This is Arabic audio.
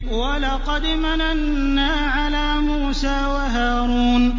وَلَقَدْ مَنَنَّا عَلَىٰ مُوسَىٰ وَهَارُونَ